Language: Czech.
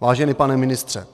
Vážený pane ministře,